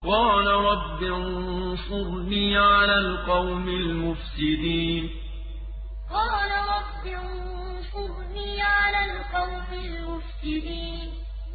قَالَ رَبِّ انصُرْنِي عَلَى الْقَوْمِ الْمُفْسِدِينَ قَالَ رَبِّ انصُرْنِي عَلَى الْقَوْمِ الْمُفْسِدِينَ